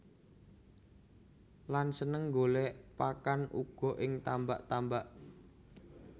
Lan seneng golèk pakan uga ing tambak tambak